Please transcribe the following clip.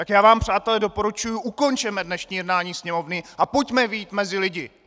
Tak já vám, přátelé, doporučuji, ukončeme dnešní jednání Sněmovny a pojďme vyjít mezi lidi!